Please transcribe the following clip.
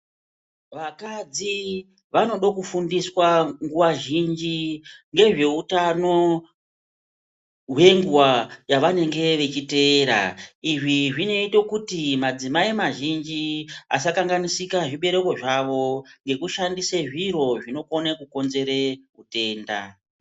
Vakadzi vanodo kufundiswa nguwa zhinji ngezveutano hwenguwa yavanenge vechiteera. Izvi zvinoito kuti madzimai mazhinji asakanganisika zvibereko zvavo ngekushandise zviro zvinokone kukonzere utenda.